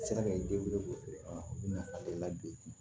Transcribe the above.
Sera ka den wolo u nafa don